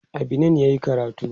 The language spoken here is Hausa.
a Benin yayi karatu